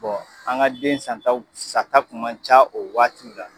an ka den san taw sa ta kun man ca o waati la.